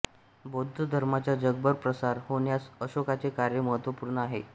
बौद्ध धर्माचा जगभर प्रसार होण्यास अशोकाचे कार्य महत्त्वपूर्ण आहे